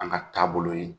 An ka taabolo ye